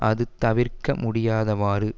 அது தவிர்க்க முடியாதவாறு